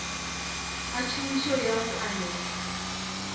ga tšhomišo ya go anega